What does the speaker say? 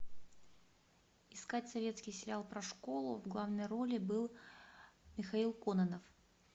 искать советский сериал про школу в главной роли был михаил кононов